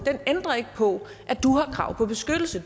ændrer ikke på at du har krav på beskyttelse